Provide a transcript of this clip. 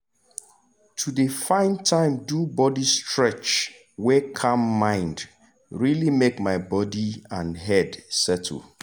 to dey find time do body stretch wey calm mind really make my body and head settle.